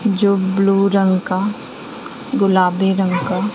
जो ब्ल्यू रंग का गुलाबी रंग का--